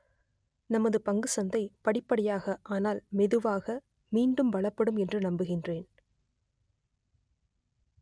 நமது பங்குச் சந்தை படிப்படியாக ஆனால் மெதுவாக மீண்டும் பலப்படும் என்று நம்புகின்றேன்